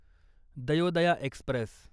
Dayodaya Express